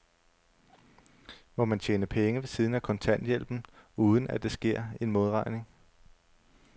Må man tjene penge ved siden af kontanthjælpen, uden at der sker en modregning?